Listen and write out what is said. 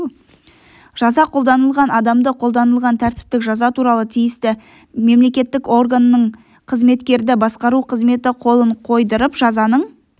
жаза қолданылған адамды қолданылған тәртіптік жаза туралы тиісті мемлекеттік органның қызметкерді басқару қызметі қолын қойдырып жазаның